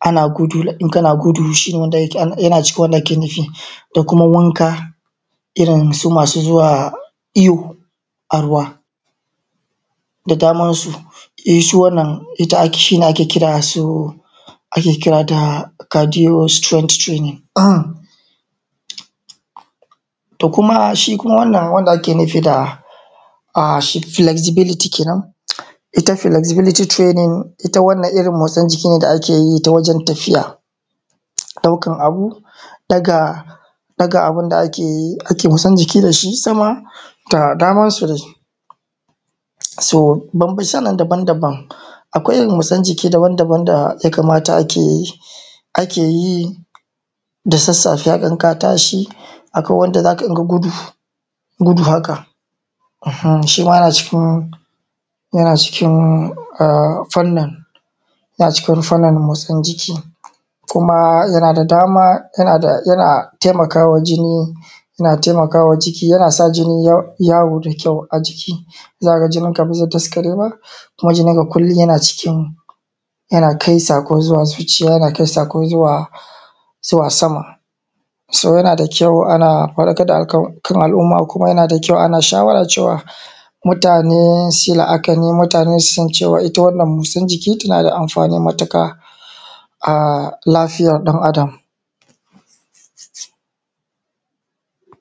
ana gudu, in kana gudu shi ne wanda ake kira, yana cikin wanda ake nufi da kuma wanka, irin su masu zuwa iyo a ruwa, da damansu su,e su wannan ita ake shi ne ake kira da su, ake kira da cadiostrain training. um to kuma shi wannan wanda ake nufi da shi flexibilityi kenen, ita flexibility training ita wannan irin motsin jiki ne da ake yi ta wajen tafiya, ɗaukan abu, ɗaga ɗaga abun akeyi yin motsin jiki sama, da damansu dai. So bamcebamce nan dabam- daban, akwai irin motsin jiki dabam -dabam daya kamata akeyi, akeyi da sassafe a dan ka tashi, akan wanda zaka rinƙa gudu, gudu haka, uhumm shima yana cikin, yana cikin a fani, yana cikin fanin motsin jiki, kuma yana da dama, yana taikawa jini, yana taimawa jiki yana sa jini yawo da kyau a jiki, za ka ga jininka ba zai daskare ba, kuma jininka kullum yana cikin, yana kai sako zuwa zuciya, yana kai sako zuwa sama. So yana da kyau ana faɗakar da akan, kan al’umma kuma yana da kyau ana shawara cewa mutane su la’akani, mutane su san cewa ita wannan motsin jiki tana da amfani matuƙa, a lafiyar ɗan Adam.